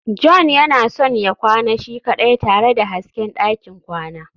john yana son ya kwana shi kaɗai tare da hasken ɗakin kwana